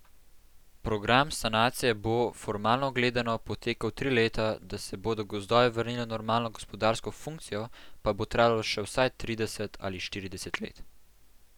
Program sanacije bo, formalno gledano, potekal tri leta, da se bodo gozdovi vrnili v normalno gospodarsko funkcijo, pa bo trajalo še vsaj trideset ali štirideset let.